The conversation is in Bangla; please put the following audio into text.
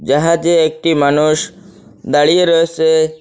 জাহাজে একটি মানুষ দাঁড়িয়ে রয়েসে।